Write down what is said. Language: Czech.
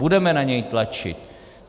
Budeme na něj tlačit.